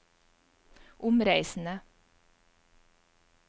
omreisende